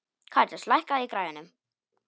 Karítas, lækkaðu í græjunum.